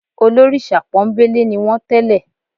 Olórìṣà pọ́nńbélé ni wọ́n tẹ́lẹ̀